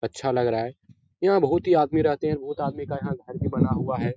अच्छा लग रहा है यहाँ बहुत ही आदमी रहते हैं बहुत आदमी का यहाँ घर भी बना हुआ है।